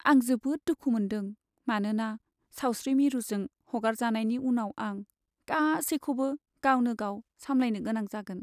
आं जोबोद दुखु मोन्दों मानोना सावस्रि मिरुजों हगारजानायनि उनाव आं गासैखौबो गावनो गाव सामलायनो गोनां जागोन।